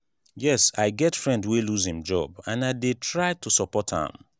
yes i get friend wey lose im job and i dey try to support am.